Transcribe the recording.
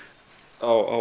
á